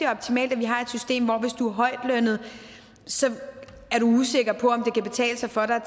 optimalt at vi har et system hvor du hvis du er højtlønnet er usikker på kan betale sig for dig at